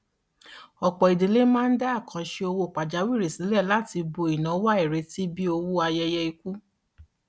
ọpọ idílé máa ń dá àkàǹṣe owó pajawiri sílẹ láti bo ináwó àìrètí bíi owó ayẹyẹ ikú